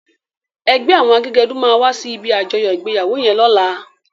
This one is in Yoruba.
Ègbè áwòn àgégèdú má wàsí ibi ájòyò igbéyáwó yèn lòlá